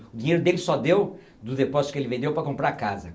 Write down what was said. O dinheiro dele só deu do depósito que ele vendeu para comprar a casa.